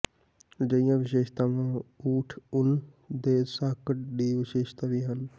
ਅਜਿਹੀਆਂ ਵਿਸ਼ੇਸ਼ਤਾਵਾਂ ਊਠ ਊਣ ਦੇ ਸਾਕਟ ਦੀ ਵਿਸ਼ੇਸ਼ਤਾ ਵੀ ਹਨ